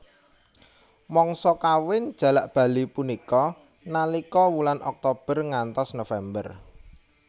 Mangsa kawin jalak bali punika nalika wulan Oktober ngantos November